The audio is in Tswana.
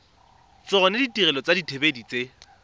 tsona ditirelo tsa dithibedi tse